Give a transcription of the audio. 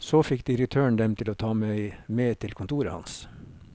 Så fikk direktøren dem til å ta meg med til kontoret hans.